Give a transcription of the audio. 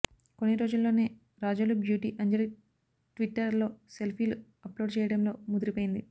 కొన్నిరోజుల్లోనే Razole beauty Anjali Twitter లో సెల్ఫీలు upload చేయటంలో ముదిరిపోయింది